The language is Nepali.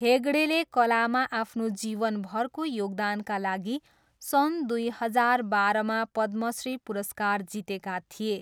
हेगडेले कलामा आफ्नो जीवनभरको योगदानका लागि सन् दुई हजार बाह्रमा पद्मश्री पुरस्कार जितेका थिए।